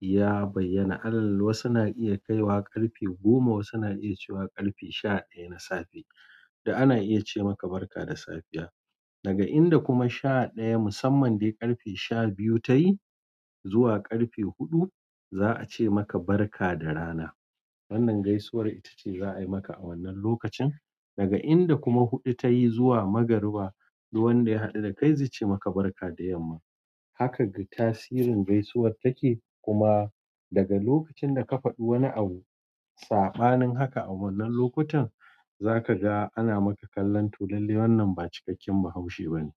ya bayyana. Alal wasu na iya kaiwa ƙarfe goma, wasu na iya cewa ƙarfe sha ɗaya na safe da ana iya ce maka barka da safiya. Daga inda kuma sha ɗaya musamman dai ƙarfe sha biyu ta yi zuwa ƙarfe huɗu, za a ce maka barka da rana. Wannan gaisuwar ita ce za a yi maka a wannan lokacin. Daga inda kuma huɗu ta yi zuwa magariba dukwan wanda ya haɗu da kai, zai ce maka barka da yamma. Haka ga tasirin gaisuwar take. Kuma daga lokacin da ka faɗi wani abu, saɓanin haka a wannan lokutan, za ka ga ana maka kallon tulalle. Wannan ba cikakken Bahaushe bane.